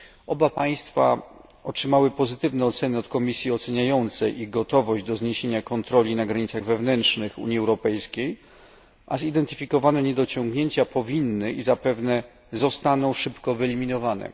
Oba państwa otrzymały pozytywne oceny od komisji oceniającej ich gotowość do zniesienia kontroli na granicach wewnętrznych Unii Europejskiej, a zidentyfikowane niedociągnięcia powinny i zapewne zostaną szybko wyeliminowane.